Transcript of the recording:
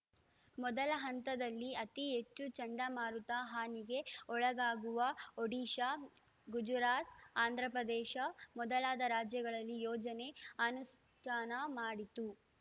ಮೊದಲ ಹಂತದಲ್ಲಿ ಅತಿ ಹೆಚ್ಚು ಚಂಡಮಾರುತ ಹಾನಿಗೆ ಒಳಗಾಗುವ ಒಡಿಶಾ ಗುಜರಾತ್‌ ಆಂಧ್ರಪ್ರದೇಶ ಮೊದಲಾದ ರಾಜ್ಯಗಳಲ್ಲಿ ಯೋಜನೆ ಅನುಷ್ಠಾನ ಮಾಡಿತು